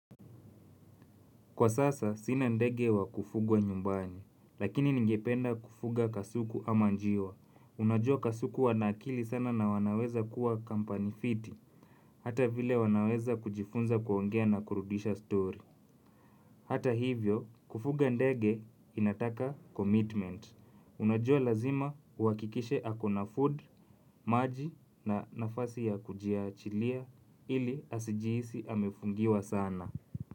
Kwa sasa, sina ndege wa kufugwa nyumbani, lakini ningependa kufuga kasuku ama njiwa. Unajua kasuku wana akili sana na wanaweza kuwa kampani fiti, hata vile wanaweza kujifunza kuongea na kurudisha story. Hata hivyo, kufuga ndege inataka commitment. Unajua lazima uhakikishe ako na food, maji na nafasi ya kujiachilia ili asijihisi amefungiwa sana.